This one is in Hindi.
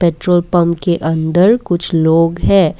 पेट्रोल पंप के अंदर कुछ लोग हैं।